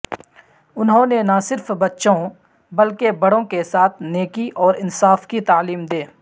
انہوں نے نہ صرف بچوں بلکہ بڑوں کے ساتھ نیکی اور انصاف کی تعلیم دے